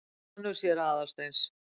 Sonur séra Aðalsteins?